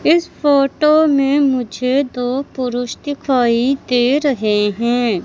इस फोटो में मुझे दो पुरुष दिखाई दे रहे हैं।